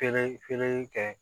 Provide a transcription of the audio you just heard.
Finɛ fɛnɛ kɛ